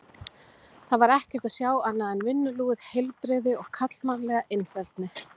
Þar var ekkert að sjá annað en vinnulúið heilbrigði og karlmannlega einfeldni.